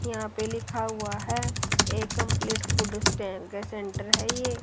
यहां पे लिखा हुआ है ए कंपलीट फूड स्टैंड के सेंटर है ये।